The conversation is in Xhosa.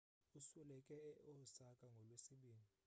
usweleke e-osaka ngolwesibini